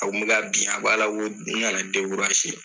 A kun bɛ ka bin a b'a la ko n kana